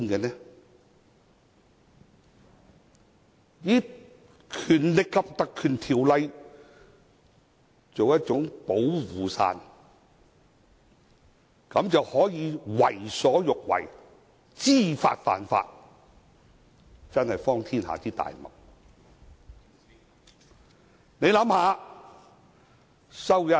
想以《立法會條例》作保護傘，為所欲為，知法犯法，真是荒天下之大謬。